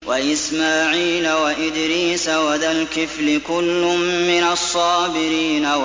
وَإِسْمَاعِيلَ وَإِدْرِيسَ وَذَا الْكِفْلِ ۖ كُلٌّ مِّنَ الصَّابِرِينَ